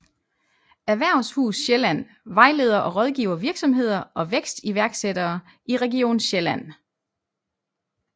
Erhvervshus Sjælland vejleder og rådgiver virksomheder og vækstiværksættere i region Sjælland